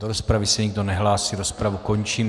Do rozpravy se nikdo nehlásí, rozpravu končím.